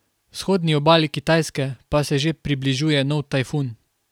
Vzhodni obali Kitajske pa se že približuje nov tajfun.